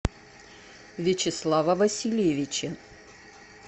вячеслава васильевича